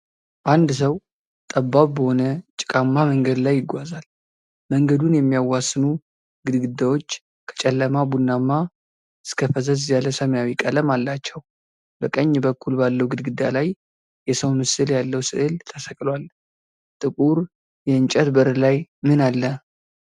አንድ ሰው ጠባብ በሆነ ጭቃማ መንገድ ላይ ይጓዛል። መንገዱን የሚያዋስኑ ግድግዳዎች ከጨለማ ቡናማ እስከ ፈዘዝ ያለ ሰማያዊ ቀለም አላቸው። በቀኝ በኩል ባለው ግድግዳ ላይ የሰው ምስል ያለው ሥዕል ተሰቅሏል። ጥቁር የእንጨት በር ላይ ምን አለ?